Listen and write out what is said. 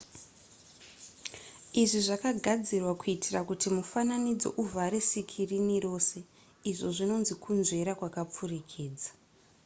izvi zvakagadzirwa kuitira kuti mufananidzo uvhare sikirini rose izvo zvinonzi kunzvera kwakapfurikidza